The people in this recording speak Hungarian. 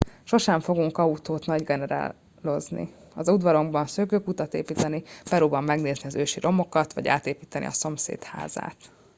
sosem fogunk autót nagygenerálozni az udvarunkban szökőkutat építeni peruban megnézni az ősi romokat vagy átépíteni a szomszéd házát